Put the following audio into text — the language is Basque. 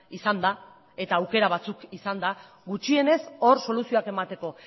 izanda eta aukera batzuk izanda gutxienez hor soluzioak emateko